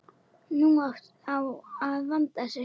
Nú á að vanda sig.